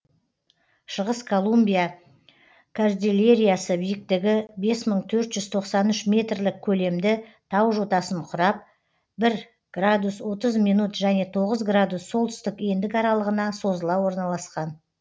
шығыс колумбия кордильерасы биіктігі бес мың төртжүз тоқсан үш метрлік көлемді тау жотасын құрап бір градус отыз минут және тоғыз градус солтүстік ендік аралығына созыла орналасқан